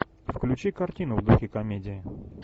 включи картину в духе комедии